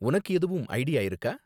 உனக்கு எதுவும் ஐடியா இருக்கா?